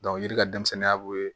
yiri ka denmisɛnninya b'o ye